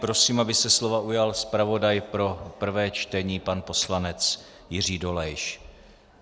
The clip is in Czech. Prosím, aby se slova ujal zpravodaj pro prvé čtení pan poslanec Jiří Dolejš.